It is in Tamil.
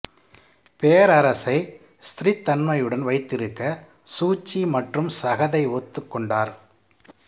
பேரரசை ஸ்திரத்தன்மையுடன் வைத்திருக்க சூச்சி மற்றும் சகதை ஒத்துக் கொண்டனர்